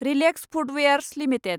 relax Footwears limited